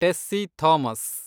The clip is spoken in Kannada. ಟೆಸ್ಸಿ ಥಾಮಸ್